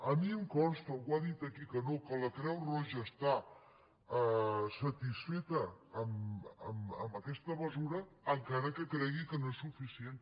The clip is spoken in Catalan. a mi em consta algú ha dit aquí que no que la creu roja està satisfeta amb aquesta mesura encara que cregui que no és suficient